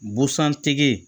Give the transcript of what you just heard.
Busan tigi